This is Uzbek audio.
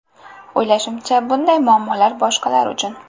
O‘ylashimcha, bunday muammolar boshqalar uchun.